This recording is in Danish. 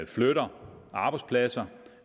flytter arbejdspladser